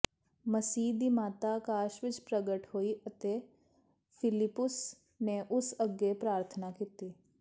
ਮਸੀਹ ਦੀ ਮਾਤਾ ਆਕਾਸ਼ ਵਿਚ ਪ੍ਰਗਟ ਹੋਈ ਅਤੇ ਫ਼ਿਲਿਪੁੱਸ ਨੇ ਉਸ ਅੱਗੇ ਪ੍ਰਾਰਥਨਾ ਕੀਤੀ